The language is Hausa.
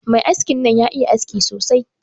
Mai haskin nan ya iya haski sosai.